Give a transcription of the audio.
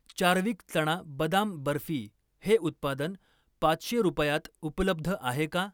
चार्विक चणा बदाम बर्फी हे उत्पादन पाचशे रुपयात उपलब्ध आहे का?